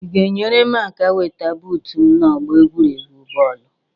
Ị ga-enyere m aka weta buut m n'ọgbọ egwuregwu bọọlụ